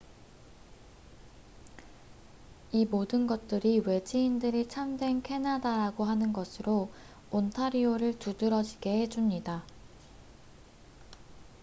이 모든 것들이 외지인들이 참된 캐나다라고 하는 것으로 온타리오를 두드러지게 해줍니다